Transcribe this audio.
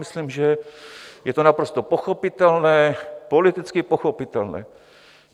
Myslím, že je to naprosto pochopitelné, politicky pochopitelné.